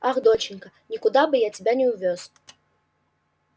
ах доченька никуда бы я тебя не увёз